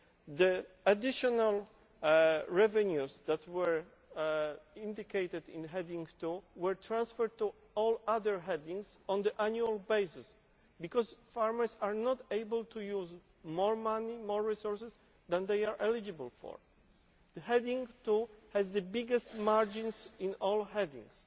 The additional revenues that were indicated in Heading 2 were transferred to all other headings on an annual basis because farmers are not able to use more money and resources than they are eligible for. Heading 2 has the biggest margins of all headings.